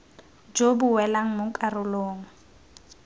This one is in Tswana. jo bo welang mo karolong